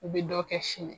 U bɛ dɔ kɛ sini